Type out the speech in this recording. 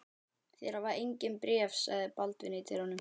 Þeir hafa engin bréf, sagði Baldvin í dyrunum.